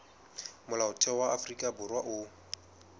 molaotheo wa afrika borwa o